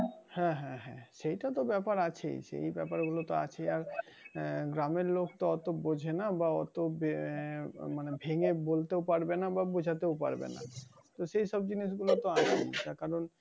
হ্যাঁ হ্যাঁ হ্যাঁ সেইটাতো ব্যাপার আছে সেই ব্যাপার গুলো আছে আর, আহ গ্রামের লোক তা তো বোঝেনা বা অত বে~ মানে ভেঙে বলতেও পারবে না বা বোঝাতেও পারবে না। তো সেই সব জিনিশগুলো তো আছেই